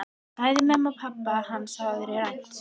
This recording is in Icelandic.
Bæði mömmu og pabba hans hafði verið rænt.